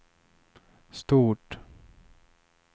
stort